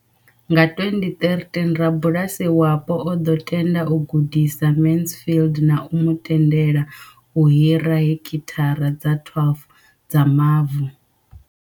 Nga 2013, rabulasi wapo o ḓo tenda u gudisa Mansfield na u mu tendela u hira heki thara dza 12 dza mavu.